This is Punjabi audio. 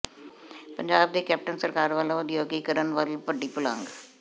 ਪੰਜਾਬ ਦੀ ਕੈਪਟਨ ਸਰਕਾਰ ਵੱਲੋਂ ਉਦਯੋਗੀਕਰਨ ਵੱਲ ਵੱਡੀ ਪੁਲਾਂਘ